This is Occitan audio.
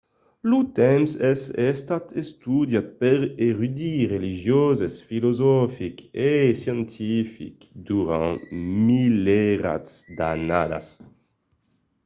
lo temps es estat estudiat per d’erudits religioses filosofics e scientifics durant de milierats d’annadas